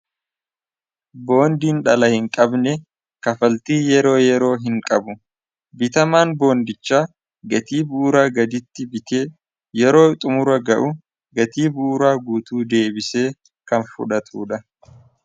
Boondiin dhala hin qabne kafaltii yeroo yeroo hin qabu bitamaan boondicha gatii buuraa gaditti bitee yeroo xumura ga'u gatii buuraa guutuu deebisee kan fudhatuu dha.